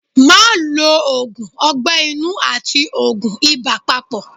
Má lo òògùn ọgbẹ́ inú àti òògùn ibà papọ̀.